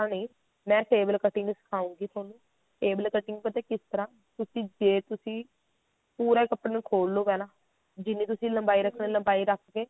ਤਰ੍ਹਾਂ ਨੀ ਮੈਂ table cutting ਵੀ ਸਿਖਾਉਂਗੀ ਤੁਹਾਨੂੰ table cutting ਪਤਾ ਕਿਸ ਤਰ੍ਹਾਂ ਤੁਸੀਂ ਜੇ ਤੁਸੀਂ ਪੂਰਾ ਕੱਪੜਾ ਨੂੰ ਖੋਲ ਲਓ ਪਹਿਲਾਂ ਜਿੰਨੀ ਤੁਸੀਂ ਲੰਬਾਈ ਰੱਖਣੀ ਆ ਲੰਬਾਈ ਰੱਖ ਕੇ